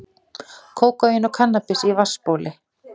Kókaín og kannabis í vatnsbóli